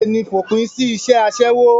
bẹ́ẹ̀ni, fòpin sí isẹ́ asẹ́wó